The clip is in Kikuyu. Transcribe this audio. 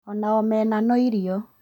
Ona omena no irio